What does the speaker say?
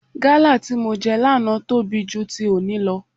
Gálà tí mo jẹ lánàá tóbi ju ti òní lọ.